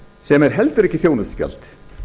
sem er heldur ekki þjónustugjald